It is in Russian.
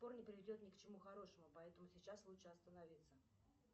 не приведет ни к чему хорошему поэтому сейчас лучше остановиться